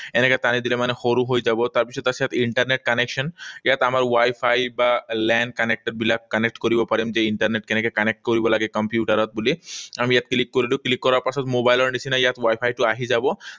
এনেকৈ টানি দিলে মানে সৰু হৈ যাব। তাৰপিছত আছে ইণ্টাৰনেট connection, ইয়াত আমাৰ ৱাইফাই বা LAN connected বিলাক connect কৰিব পাৰিম যে ইন্টাৰনেট কেনেকৈ connect কৰিব পাৰে কম্পিউটাৰত বুলি। আমি ইয়াত click কৰিলো। Click কৰাৰ পাছত মোবাইলৰ নিচিনা ইয়াত ৱাইফাইটো আহি যাব।